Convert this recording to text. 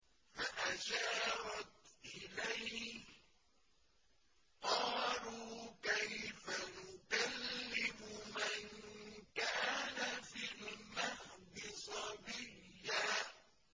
فَأَشَارَتْ إِلَيْهِ ۖ قَالُوا كَيْفَ نُكَلِّمُ مَن كَانَ فِي الْمَهْدِ صَبِيًّا